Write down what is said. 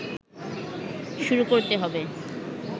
শুরু করতে হবে